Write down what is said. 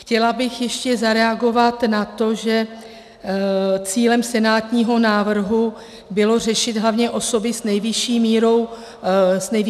Chtěla bych ještě zareagovat na to, že cílem senátního návrhu bylo řešit hlavně osoby s nejvyšší mírou podpory.